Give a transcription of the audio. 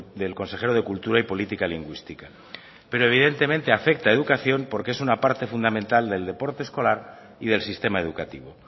del consejero de cultura y política lingüística pero evidentemente afecta a educación porque es una parte fundamental del deporte escolar y del sistema educativo